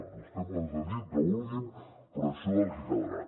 vostès poden dir el que vulguin però això és el que quedarà